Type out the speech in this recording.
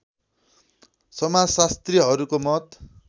समाजशास्त्रीहरूको मत